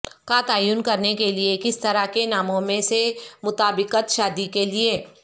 کا تعین کرنے کے لئے کس طرح کے ناموں میں سے مطابقت شادی کے لئے